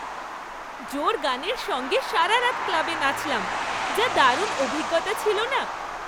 জোর গানের সঙ্গে সারা রাত ক্লাবে নাচলাম। যা দারুণ অভিজ্ঞতা ছিল না!